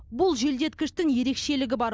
бұл желдеткіштің ерекшелігі бар